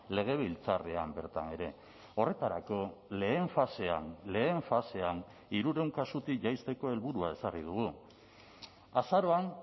legebiltzarrean bertan ere horretarako lehen fasean lehen fasean hirurehun kasutik jaisteko helburua ezarri dugu azaroan